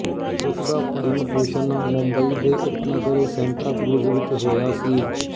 ਉਸ ਦਾ ਪਾਲਣਪੋਸ਼ਣ ਮੁੰਬਈ ਦੇ ਉਪਨਗਰ ਸੈਂਟਾਕਰੂਜ਼ ਵਿੱਚ ਹੋਇਆ ਸੀ